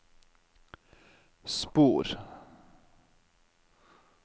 spor